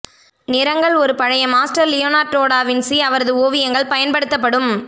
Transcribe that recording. நிறங்கள் ஒரு பழைய மாஸ்டர் லியோனார்டோ டா வின்சி அவரது ஓவியங்கள் பயன்படுத்தப்படும்